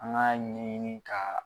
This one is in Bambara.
An k'a ɲɛɲini ka